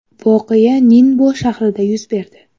Voqea Ninbo shahrida yuz berdi.